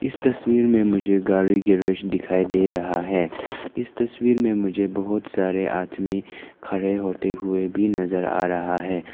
इस तस्वीर में मुझे गाड़ी की रेस दिखाई दे रहा है इस तस्वीर में मुझे बहुत सारे आदमी खड़े होते हुए भी नजर आ रहा है।